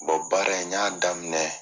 Bɔn baara n i y'a daminɛ